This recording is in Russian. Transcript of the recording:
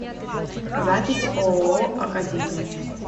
запись ооо академия